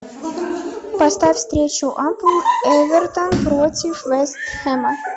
поставь встречу апл эвертон против вест хэма